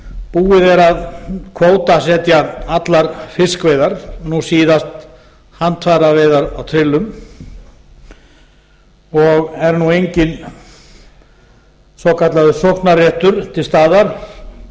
búið er að kvótasetja allar fiskveiðar nú síðast handafæraveiðar á trillum og er nú enginn svokallaður sóknarréttur til staðar